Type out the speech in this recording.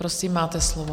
Prosím, máte slovo.